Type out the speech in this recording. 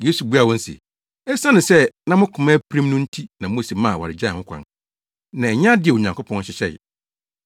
Yesu buaa wɔn se, “Esiane sɛ na mo koma apirim no nti na Mose maa awaregyae ho kwan, na ɛnyɛ ade a Onyankopɔn hyehyɛe.